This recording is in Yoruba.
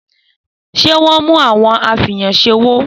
Sẹ mú àwon afẹyàn sẹ òwó?